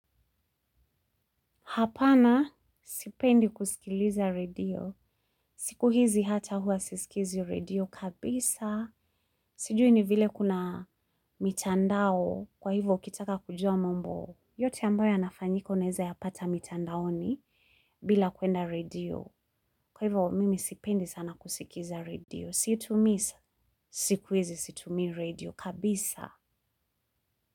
Hapana, sipendi kusikiliza redio. Siku hizi hata hua sisikizi redio kabisa. Sijui ni vile kuna mitandao kwa hivo ukitaka kujua mambo. Yote ambayo yanafanyika unaeza yapata mitandaoni bila kwenda redio. Kwa hivo mimi sipendi sana kusikiza redio. Si tu misa, siku hizi situmii redio kabisa.